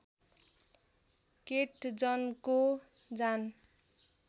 केट जनको जान